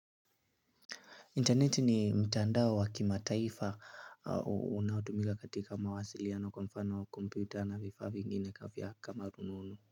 Interneti ni mtandao wa wa ki mataifa unaotumika katika mawasiliano kwa mfano kompyuta na vifaa vingine kavya kama rununu.